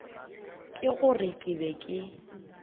ke gore ke be ke